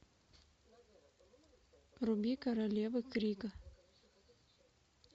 вруби королевы крика